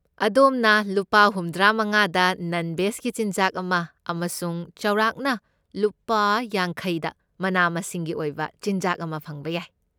ꯑꯗꯣꯝꯅ ꯂꯨꯄꯥ ꯍꯨꯝꯗ꯭ꯔꯥꯃꯉꯥꯗ ꯅꯟ ꯕꯦꯖꯀꯤ ꯆꯤꯟꯖꯥꯛ ꯑꯃ ꯑꯃꯁꯨꯡ ꯆꯥꯎꯔꯥꯛꯅ ꯂꯨꯄꯥ ꯌꯥꯡꯈꯩꯗ ꯃꯅꯥ ꯃꯁꯤꯡꯒꯤ ꯑꯣꯏꯕ ꯆꯤꯟꯖꯥꯛ ꯑꯃ ꯐꯪꯕ ꯌꯥꯏ꯫